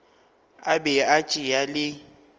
a be a tšea le